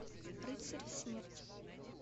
рыцарь смерти